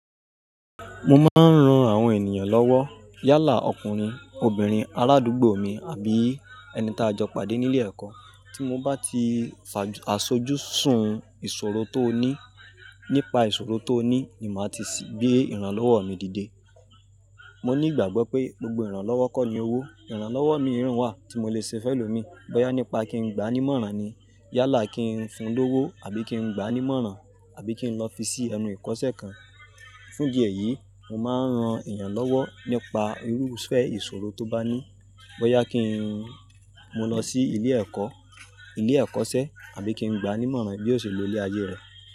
Mo máa ń ran àwọn ènìyàn lọ́wọ́. Yálà ọkùnrin, obìnrin, aládúgbò mi àbí ẹni tá a jọ pàdé nílé ẹ̀kọ́. Tí mo bá ti fàs-- asojú sun ìṣòro tó ní, nípa ìṣòro tó ní ni màá ti sì gbé ìrànlọ́wọ́ mi dìde. Mo ní ìgbàgbọ́ pé gbogbo ìrànlọ́wọ́ kọ́ ni owó. Ìrànlọ́wọ́ míràn wá tí mo lè ṣe fẹ́lọ̀ mi bóyá nípa kí n gbá ẹni mọ́ran ni, yálà kí n fun lówó àbí kí n gbá ẹni mọ́ran àbí kí n lọ fi sí ẹnu ìkọ́ṣẹ́ kan. Fún ìdí eyìí, mo máa ń ran ènìyàn lọ́wọ́ nípa irúfẹ́ ìṣòro tó bá ní. Bóyá kí n-- mo lọ sí ilé ẹ̀kọ́, ilé ẹ́kọ́ṣẹ́ àbí kí n gbá ni mọ́ran bí ó ṣe lọ ilé ayé rẹ̀.